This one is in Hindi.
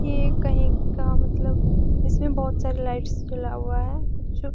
ये कही का मतलब इसमें बोहुत सारी लाइट्स जला हुआ है। कुछ --